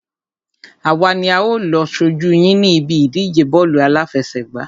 Àwa ni a ó lọ ṣojú yín ní ibi ìdíje bọ́ọ̀lù àláfẹsẹ̀gbá.